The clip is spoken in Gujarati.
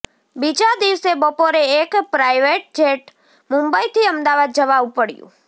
બીજા દિવસે બપોરે એક પ્રાઈવેટ જેટ મુંબઈથી અમદાવાદ જવા ઊપડયું